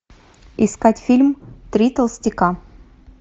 искать фильм три толстяка